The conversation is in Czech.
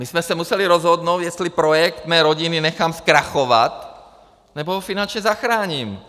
My jsme se museli rozhodnout, jestli projekt mé rodiny nechám zkrachovat, nebo ho finančně zachráním.